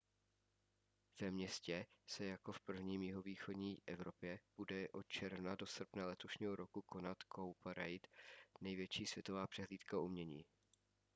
ve městě se jako v prvním v jihovýchodní evropě bude od června do srpna letošního roku konat cowparade největší světová přehlídka umění